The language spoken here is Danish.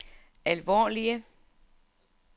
alvorlige